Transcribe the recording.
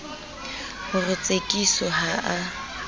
ho re tsekiso ha a